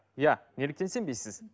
иә неліктен сенбейсіз